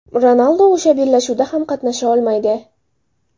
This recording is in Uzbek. Ronaldu o‘sha bellashuvda ham qatnasha olmaydi.